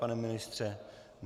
Pane ministře?